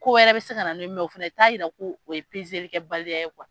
Ko wɛrɛ be se ka na n'o ye mɛ o fɛnɛ t'a yira ko o ye pezelikɛ baliya kuwa